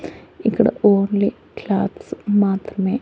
ఇక్కడ only clothes మాత్రమే --